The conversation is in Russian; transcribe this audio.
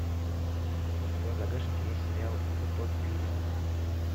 у тебя в загашнике есть сериал утопия